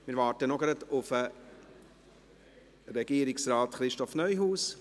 Wir warten noch auf Regierungsrat Christoph Neuhaus.